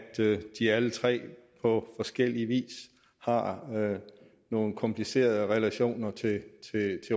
de alle tre på forskellig vis har nogle komplicerede relationer til